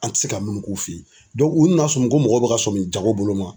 An te se ka mun k'u fe yen u nana sɔrɔ mɔgɔ mɔgɔ be ka sɔmi jago bolo ma